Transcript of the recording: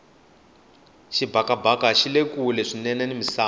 xibakabaka xile kule swinene ni misava